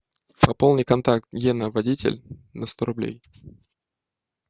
пополни контакт гена водитель на сто рублей